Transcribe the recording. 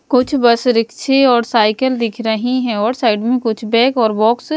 कुछ बस रिक्शे और साइकिल दिख रही हैं और साइड में कुछ बैग और बॉक्स --